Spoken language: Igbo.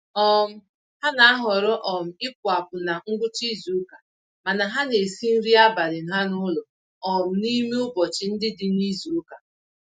um Ha na-ahọrọ um ịpụ-apụ na ngwụcha izuka, mana ha n'esi nri abalị ha n'ụlọ um n'ime ụbọchị ndị dị nizuka